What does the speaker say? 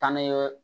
Taa ni ye